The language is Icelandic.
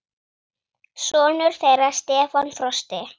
Sonur þeirra Stefán Frosti.